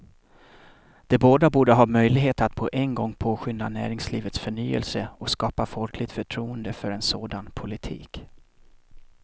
De båda borde ha möjligheter att på en gång påskynda näringslivets förnyelse och skapa folkligt förtroende för en sådan politik.